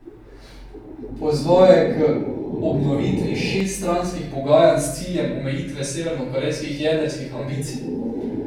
Pozval je k obnovitvi šeststranskih pogajanj s ciljem omejitve severnokorejskih jedrskih ambicij.